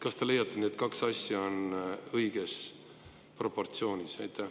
Kas te leiate, et need kaks asja on õiges proportsioonis?